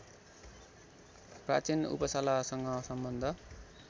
प्राचीन उपसालासँग सम्बद्ध